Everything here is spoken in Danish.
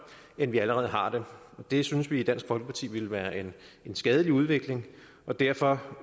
end vi allerede har det synes vi i dansk folkeparti ville være en skadelig udvikling og derfor